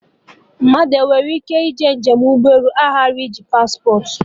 Mmadụ enwere ịke ije njem ụgbọ elu ghara iji paspportị?